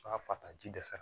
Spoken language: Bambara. fataji dɛsɛ